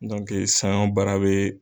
Sanɲɔ baara be